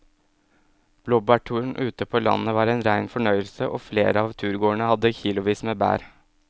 Blåbærturen ute på landet var en rein fornøyelse og flere av turgåerene hadde kilosvis med bær.